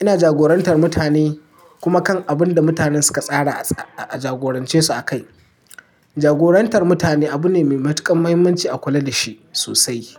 Ina jagorantar mutane kuma kan abun da mutanen suka tsara a jagorance su a kai. Jagorantar mutane abu ne mai matuƙar muhimmanci a kula da shi sosai.